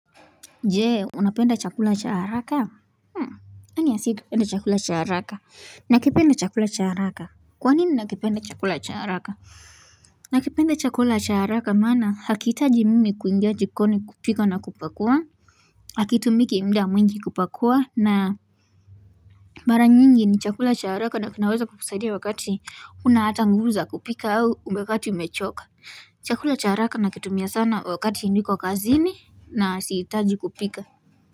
Jee unapenda chakula cha haraka Anyway si kipenda chakula cha haraka nakipenda chakula chah araka Kwanini nakipenda chakula cha haraka nakipenda chakula cha haraka maana hakihitaji mimi kuingia jikoni kupika na kupakua Hakitumiki muda mwingi kupakua na maranyingi ni chakula chaharaka nakinaweza kukusadia wakati huna hata nguvu za kupika au wakati umechoka Chakula cha haraka nakitumia sana wakati niko kazini na sihitaji kupika.